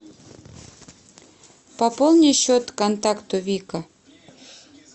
пополни счет контакту вика